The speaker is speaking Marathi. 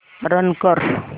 रन कर